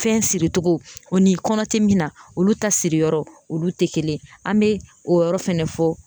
Fɛn siricogo o ni kɔnɔ tɛ min na olu ta siriyɔrɔ olu tɛ kelen ye an bɛ o yɔrɔ fɛnɛ fɔ